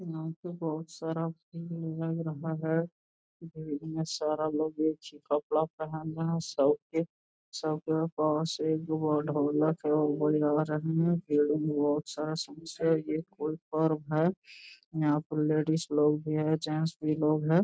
यहाँ पर बहुत सारा रहा है इतना सारा लोग एक ही सब कपड़ा पहन रहे है शर्ट सब के पास एगो ढोलक है वो बजा रहे हैं समस्या ये है कोई पर्व है यहाँ पर लेडीज लोग भी है जेंट्स भी लोग है।